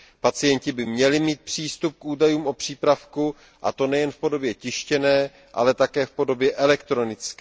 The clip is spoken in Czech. Pacienti by měli mít přístup k údajům o přípravku a to nejen v podobě tištěné, ale také v podobě elektronické.